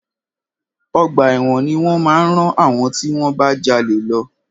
Ọgbà ẹ̀wọ̀n ni wọ́n máa rán àwọn tí wọ́n bá jalè lọ.